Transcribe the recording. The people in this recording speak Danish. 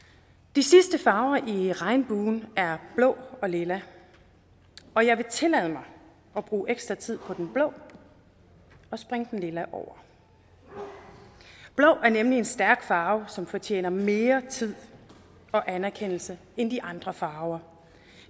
de sidste farver i regnbuen er blå og lilla og jeg vil tillade mig at bruge ekstra tid på den blå og springe den lilla over blå er nemlig en stærk farve som fortjener mere tid og anerkendelse end de andre farver